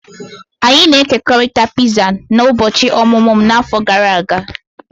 Anyị na-ekekọrịta piza n'ụbọchị ọmụmụ m n'afọ gara aga.